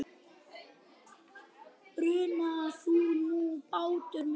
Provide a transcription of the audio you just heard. Bruna þú nú, bátur minn.